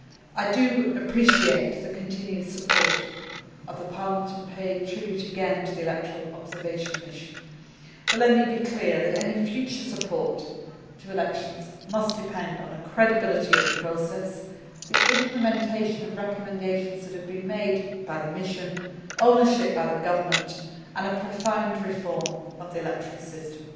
I appreciate the continued support of the Parliament and pay tribute again to the electoral observation mission, but let me be clear that any future support to elections must depend on the credibility of the process, the implementation of recommendations that have been made by the mission, ownership by the government and a profound reform of the electoral system.